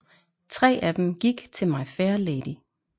Tre af dem gik til My Fair Lady